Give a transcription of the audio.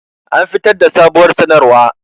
An fitar da sabuwar sanarwa